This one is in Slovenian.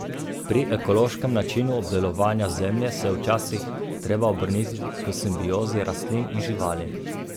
Pri ekološkem načinu obdelovanja zemlje se je včasih treba obrniti k simbiozi rastlin in živali.